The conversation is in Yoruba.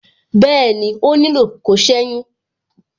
Bẹẹni, ó nílò kó seyun.